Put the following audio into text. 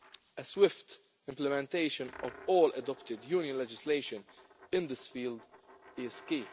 A swift implementation of all adopted Union legislation in this field is key.